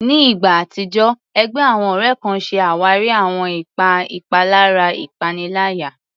Ní ìgbà àtijọ́, ẹgbẹ́ àwọn ọ̀rẹ́ kan ṣe àwárí àwọn ipa ìpalára ìpaniláyà.